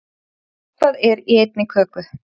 Eitthvað er í einni köku